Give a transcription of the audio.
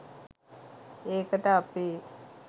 ඒකට අපේ .